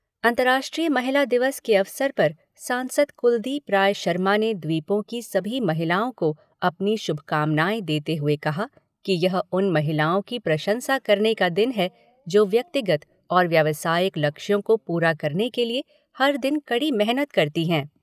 अंतर्राष्ट्रीय महिला दिवस के अवसर पर सांसद कुलदीप राय शर्मा ने द्वीपों की सभी महिलाओं को अपनी शुभकामनाएं देते हुए कहा कि यह उन महिलाओं की प्रशंसा करने का दिन है, जो व्यक्तिगत और व्यावसायिक लक्ष्यों को पूरा करने के लिए हर दिन कड़ी मेहनत करती हैं।